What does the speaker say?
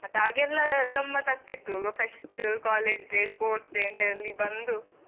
ಮತ್ತೆ ಆಗ ಎಲ್ಲಾ ಗಮ್ಮತ್ ಆಗ್ತಿತ್ತು fest, college day, sports day ಅಂತ ಅಲ್ಲಿ ಬಂದು.